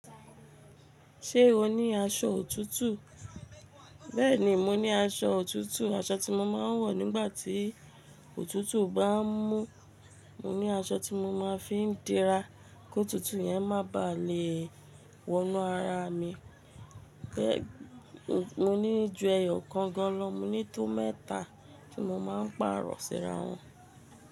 Ṣé o ní aṣọ òtútù? Bẹ́ẹ̀ ni, mo ní aṣọ òtútù, aṣọ tí mo máa ń wọ̀ nígbà tí òtútù bá ń mú. Mo ní aṣọ tí mo máa ń fi ń dira kí òtútù yẹn má ba à le è wọnú ara mi. Mo ní ju ẹyọ kan gan lọ, mo ní tó mẹ́ta tí mo máa ń pàrọ̀ síra wọn.